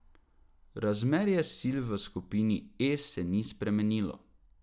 Razmerje sil v skupini E se ni spremenilo.